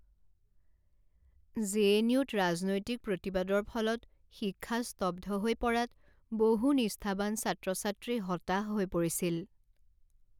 J N U ত ৰাজনৈতিক প্ৰতিবাদৰ ফলত শিক্ষা স্তব্ধ হৈ পৰাত বহু নিষ্ঠাৱান ছাত্ৰ ছাত্ৰী হতাশ হৈ পৰিছিল।